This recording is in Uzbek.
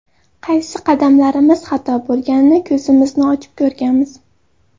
Qaysi qadamlarimiz xato bo‘lganini ko‘zimizni ochib ko‘rganmiz.